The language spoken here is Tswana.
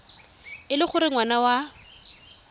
e le gore ngwana wa